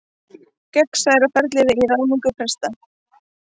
Gegnsærra ferli í ráðningu presta